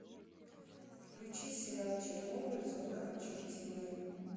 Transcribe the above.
включи сериал чернобыль зона отчуждения